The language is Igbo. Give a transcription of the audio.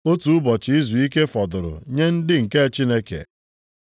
Otu ụbọchị izuike fọdụrụ nye ndị nke Chineke.